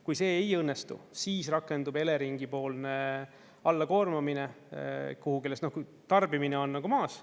Kui see ei õnnestu, siis rakendub Eleringi-poolne alla koormamine kuhugi, kui tarbimine on maas.